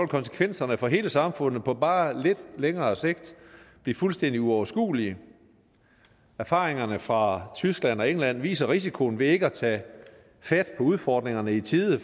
konsekvenserne for hele samfundet på bare lidt længere sigt blive fuldstændig uoverskuelige erfaringerne fra tyskland og england viser risikoen ved ikke at tage fat på udfordringerne i tide